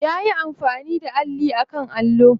Ya yi amfani da alli a kan allo.